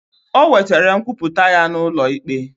Ọ wetere nkwuputa ya na ụlọ ikpe.